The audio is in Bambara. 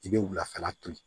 I bɛ wulafɛla to yen